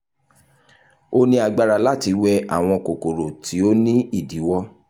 o ni agbara lati wẹ awọn kokoro ti o ni idiwọ